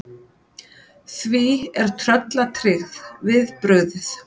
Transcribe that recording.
Því er tröllatryggð við brugðið.